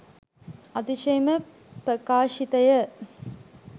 අතිශයින්ම ප්‍රකාශිතය